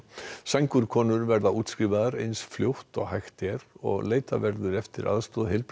sængurkonur verða útskrifaðar eins fljótt og hægt er og leitað verður eftir aðstoð